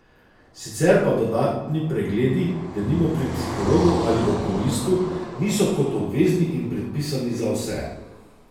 Sicer pa dodatni pregledi, denimo pri psihologu ali okulistu, niso kot obvezni predpisani za vse.